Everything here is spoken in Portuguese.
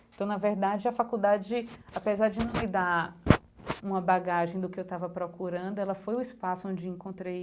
Então, na verdade, a faculdade, apesar de não me dar uma bagagem do que eu estava procurando, ela foi o espaço onde encontrei